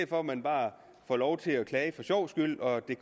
for at man bare får lov til at klage for sjovs skyld og at det